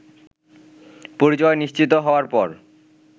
পরিচয় নিশ্চিত হওয়ার পর